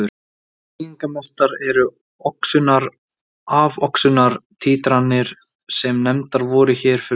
Þýðingarmestar eru oxunar-afoxunar títranir sem nefndar voru hér fyrir ofan.